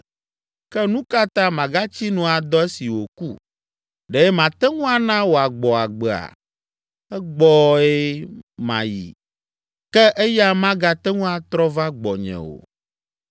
Ke nu ka ta magatsi nu adɔ esi wòku? Ɖe mate ŋu ana wòagbɔ agbea? Egbɔe mayi, ke eya magate ŋu atrɔ va gbɔnye o.”